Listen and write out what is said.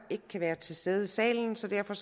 ikke kan være til stede i salen så derfor